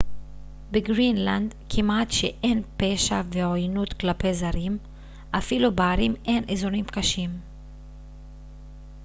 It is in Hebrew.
בגרינלנד כמעט שאין פשע ועוינות כלפי זרים אפילו בערים אין אזורים קשים